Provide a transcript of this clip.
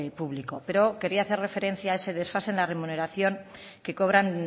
público pero quería hacer referencia a ese desfase en la remuneración que cobran